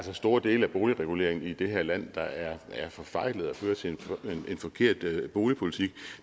er store dele af boligreguleringen i det her land der er forfejlet og fører til en forkert boligpolitik